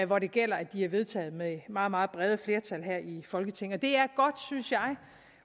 hvor det gælder at de er vedtaget med meget meget brede flertal her i folketinget